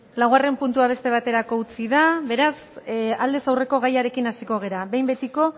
laugarren puntua beste baterako utzi da beraz aurrez aldeko gaiarekin hasiko gara behin betiko